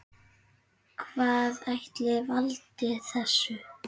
Hvað ætli valdi þessu?